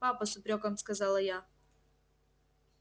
папа с упрёком сказала я